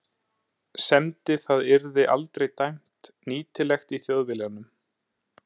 semdi það yrði aldrei dæmt nýtilegt í Þjóðviljanum.